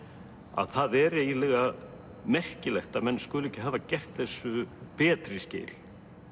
að það er eiginlega merkilegt að menn skuli ekki hafa gert þessu betri skil